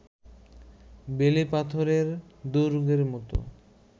বেলে পাথরের দুর্গের মতো